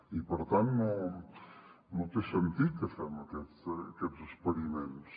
i per tant no té sentit que fem aquests experiments